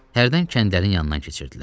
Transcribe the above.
Hərdən kəndlərin yanından keçirdilər.